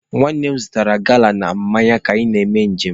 Nwanne m zụtara gala na mmanya ka anyị na-eme nje m.